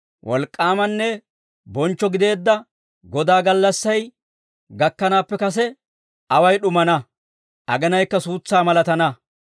Wolk'k'aamanne bonchcho gideedda Godaa gallassay, gakkanaappe kase away d'umaana; agenaykka suutsaa malatana.